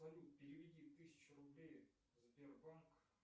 салют переведи тысячу рублей в сбербанк